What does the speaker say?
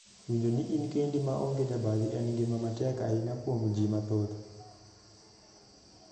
Winjo ni in kendi ma onge jabathi en ngima matek ahinya kuom jii mathoth.